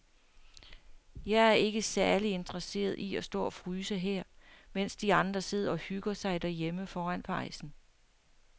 Jeg er ikke særlig interesseret i at stå og fryse her, mens de andre sidder og hygger sig derhjemme foran pejsen.